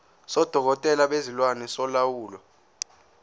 sodokotela bezilwane solawulo